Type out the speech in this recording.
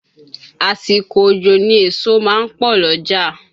Àsìkò òjò ni èso ma ń pọ̀ l'ọ́jà.